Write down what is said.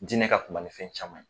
Jinɛ ka kuma ni fɛn caman ye